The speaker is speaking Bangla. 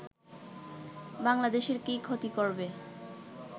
বাংলাদেশের কী ক্ষতি করবে